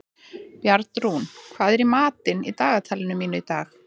Bjarnrún, hvað er í dagatalinu mínu í dag?